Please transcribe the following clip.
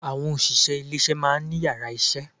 Àwọn òṣìṣẹ́ ilé isé maá ní yàrá isé